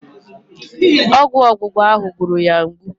Ọgwụ ọgbụgba ahụ gburu ya mgbu.